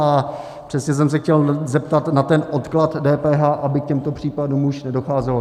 A přesně jsem se chtěl zeptat na ten odklad DPH, aby k těmto případům už nedocházelo.